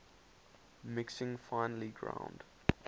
mixing finely ground